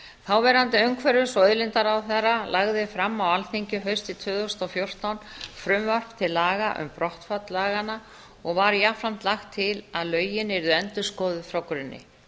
þáverandi umhverfis og auðlindaráðherra lagði fram á alþingi haustið tvö þúsund og fjórtán frumvarp til laga um brottfall laganna og var jafnframt lagt til að lögin yrðu endurskoðuð frá grunni